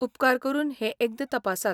उपकार करून हें एकदां तपासात.